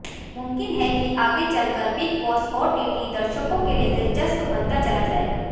मुमकिन है कि आगे चलकर बिग बॉस ओटीटी दर्शकों के लिए दिलचस्प बनता चला जाएगा